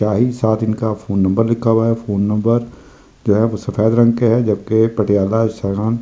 साथ ही साथ इनका फोन नंबर लिखा हुआ है फोन नंबर जो है वह सफेद रंग के है जबकि पटियाला जो है।